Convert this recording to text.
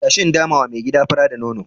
Tashi in damawa mai gida fura da nono.